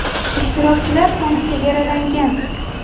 Ishtirokchilar soni chegaralangan.